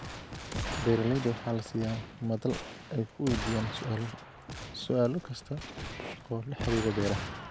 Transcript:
Beeralayda waxaa la siiyaa madal ay ku weydiiyaan su'aalo kasta oo la xiriira beeraha.